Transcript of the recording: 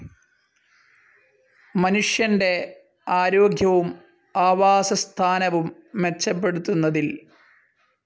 മനുഷ്യന്റെ ആരോഗ്യവും ആവാസസ്ഥാനവും മെച്ചപ്പെടുത്തുന്നതിൽ.